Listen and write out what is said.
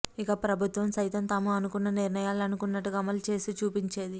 ఇక ప్రభుత్వం సైతం తాము అనుకున్న నిర్ణయాలు అనుకున్నట్టుగా అమలు చేసి చూపించేది